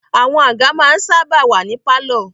Àwọn àga ma ń sáábà wà ní pálọ̀.